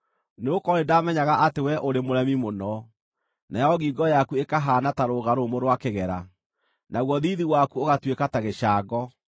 Nĩgũkorwo nĩndamenyaga atĩ wee ũrĩ mũremi mũno, nayo ngingo yaku ĩkahaana ta rũga rũmũ rwa kĩgera, naguo thiithi waku ũgatuĩka ta gĩcango.